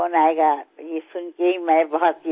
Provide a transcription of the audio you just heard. మీ phone వస్తుందని తెలిసి నేనెంతో ఆశ్చర్యపోయాను